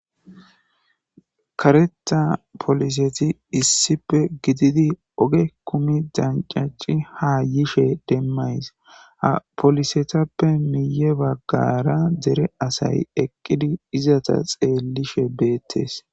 kareta poliseti issipe gididi oge kumi dancaci ha yishe demmays ha polisetappe miye baggara dere asay eqqidi izata xeellishe beettes.